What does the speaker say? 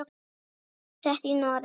Búsett í Noregi.